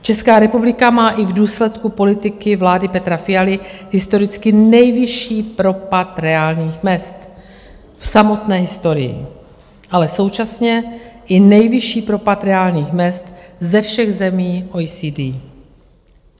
Česká republika má i v důsledku politiky vlády Petra Fialy historicky nejvyšší propad reálných mezd v samotné historii, ale současně i nejvyšší propad reálných mezd ze všech zemí OECD.